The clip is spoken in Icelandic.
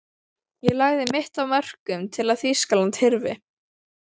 Ég lagði mitt af mörkum til að Þýskaland hyrfi.